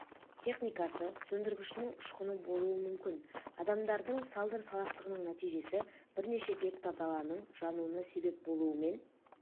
техникасы сөндіргішінің ұшқыны болуы мүмкін адамдардың салдыр салақтығының нәтижесі бірнеше гектар даланың жануына себеп болуымен